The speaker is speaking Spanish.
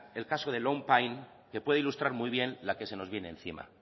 el caso de long pine que puede ilustrar muy bien la que se nos viene encima